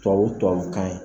Tɔbabu tɔbabu kan ye